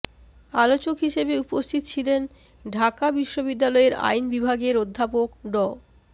আলোচক হিসেবে উপস্থিত ছিলেন ঢাকা বিশ্ববিদ্যালয়ের আইন বিভাগের অধ্যাপক ড